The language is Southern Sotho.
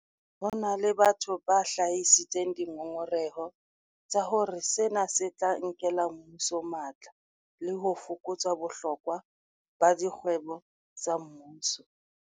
Ho na le batho ba hlahisitseng dingongoreho tsa hore sena se tla nkela mmuso matla le ho fokotsa bohlokwa ba dikgwebo tsa mmuso.